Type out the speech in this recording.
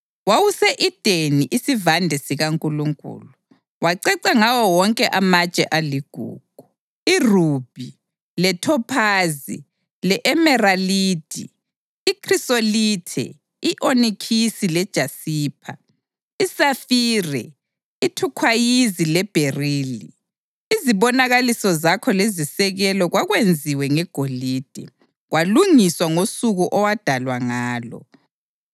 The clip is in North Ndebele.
Wawuse-Edeni isivande sikaNkulunkulu; waceca ngawo wonke amatshe aligugu: irubhi, lethophazi le-emeralidi, ikhrisolithe, i-onikisi lejaspa, isafire, ithukhwayizi lebherili. Izibonakaliso zakho lezisekelo kwakwenziwe ngegolide; kwalungiswa ngosuku owadalwa ngalo.